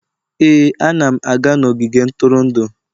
Ee, ana m aga n'ogige ntụrụndụ